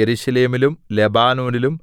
യെരൂശലേമിലും ലെബാനോനിലും